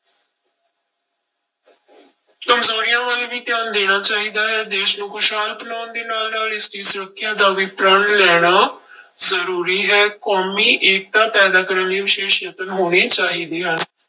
ਕੰਮਜ਼ੋਰੀਆਂ ਵੱਲ ਵੀ ਧਿਆਨ ਦੇਣਾ ਚਾਹੀਦਾ ਹੈ, ਦੇਸ ਨੂੰ ਖ਼ੁਸ਼ਹਾਲ ਬਣਾਉਣ ਦੇ ਨਾਲ ਨਾਲ ਇਸਦੀ ਸੁਰੱਖਿਆ ਦਾ ਵੀ ਪ੍ਰਣ ਲੈਣਾ ਜ਼ਰੂਰੀ ਹੈ ਕੌਮੀ ਏਕਤਾ ਪੈਦਾ ਕਰਨ ਲਈ ਵਿਸ਼ੇਸ਼ ਯਤਨ ਹੋਣੇ ਚਾਹੀਦੇ ਹਨ।